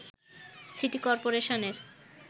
city করপোরেশনের